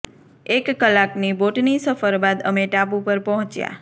એક કલાકની બોટની સફર બાદ અમે ટાપુ પર પહોંચયા